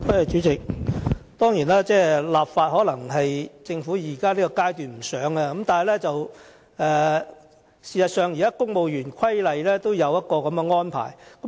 主席，當然，政府在現階段可能並不想立法，但事實上，現時《公務員事務規例》也有相關的安排。